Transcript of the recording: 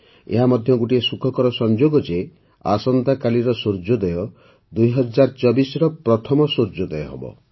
ଏହା ମଧ୍ୟ ଗୋଟିଏ ସୁଖକର ସଂଯୋଗ ଯେ ଆସନ୍ତା କାଲିର ସୂର୍ଯ୍ୟୋଦୟ ୨୦୨୪ର ପ୍ରଥମ ସୂର୍ଯ୍ୟୋଦୟ ହେବ